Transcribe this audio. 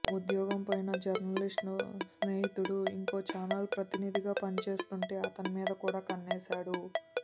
ఉద్యోగం పోయిన జర్నలిస్ట్ స్నేహితుడు ఇంకో ఛానల్ ప్రతినిధిగా పనిచేస్తుంటే అతని మీద కూడా కన్నేశాడు